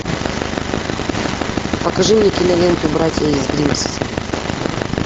покажи мне киноленту братья из гримсби